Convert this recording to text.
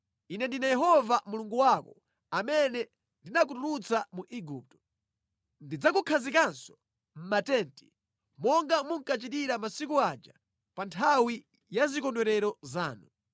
“Ine ndine Yehova Mulungu wako amene ndinakutulutsa mu Igupto. Ndidzakukhazikaninso mʼmatenti, monga munkachitira masiku aja pa nthawi ya zikondwerero zanu.